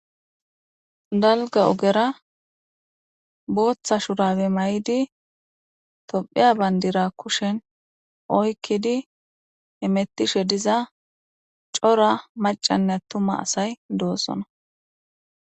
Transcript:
Daliga ogera botha shurabe maidi topheya banidira kushen oyikidi hemetishediza coora macanee atuma asayi do'sona